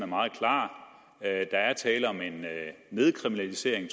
meget klar der er tale om en nedkriminalisering